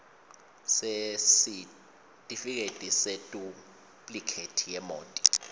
sesitifiketi seduplikhethi yemoti